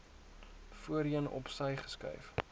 voorheen opsy geskuif